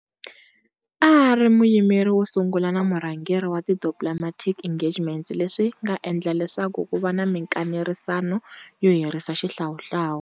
A ari muyimeri wosungula na murhangeri wa ti Diplomatic Engagements leswinga endla leswaku kuva na minkanerisano yo herisa xihlawuhlawu.